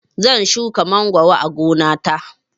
Zan shuka mangoro a gona ta